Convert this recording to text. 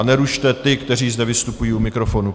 A nerušte ty, kteří zde vystupují u mikrofonu.